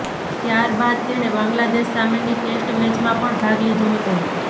ત્યારબાદ તેણે બાંગ્લાદેશ સામેની ટેસ્ટ મેચમાં પણ ભાગ લીધો હતો